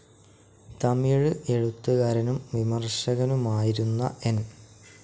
തമിഴ് എഴുത്തുകാരനും വിമർശകനുമായിരുന്ന എൻ.